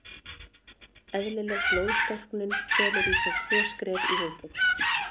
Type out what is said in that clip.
Eðlileg blóðstorknun felur í sér tvö skref í viðbót.